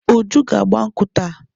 Uju ga-agba nkwụ́ taa.